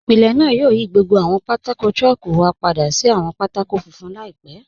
Ìpílẹ̀ náà yóò yí gbogbo àwọn pátákò̀ chalku wa padà sí àwọn pátákò̀ fúnfun laípẹ̀.